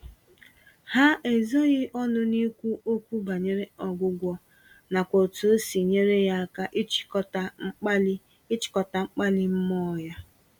Ha ezoghị ọnụ n'ikwu okwu banyere ọgwụgwọ, nakwa otú osi nyere ya aka ịchịkọta mkpali ịchịkọta mkpali mmụọ ya.